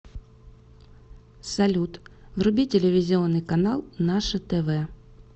салют вруби телевизионный канал наше тв